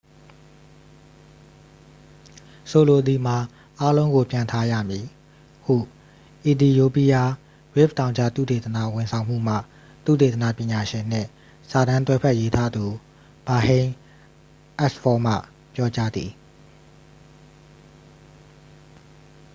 ဆိုလိုသည်မှာ အားလုံးကိုပြန်ထားရမည် ဟု အီသီယိုးပီးယား ရစ်ဖ်တောင်ကြား သုတေသနဝန်ဆောင်မှုမှ သုတေသနပညာရှင်နှင့် စာတမ်းတွဲဘက်ရေးသားသူ ဘာဟိန်းအက်စ်ဖောမှ ပြောကြားသည်